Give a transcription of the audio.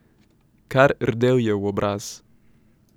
Kar rdel je v obraz.